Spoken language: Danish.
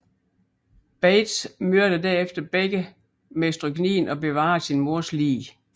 Bates myrder derefter begge med stryknin og bevarer sin mors lig